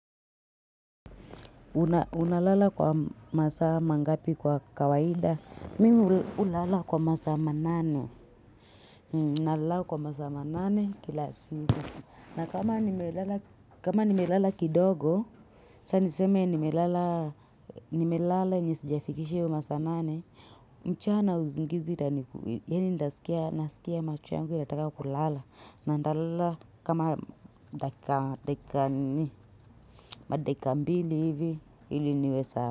Unalala kwa masaa mangapi kwa kawaida? Mimi hulala kwa masaa manane. Nalala kwa masaa ma nane kila siku. Na kama nimelala kidogo, saa niseme nimelala yenye sijafikishi hiyo masaa nane. Mchana uzingizi tani yani nasikia macho yangu inataka kulala. Na nitalala kama madeka mbili hivi ili niwe sawa.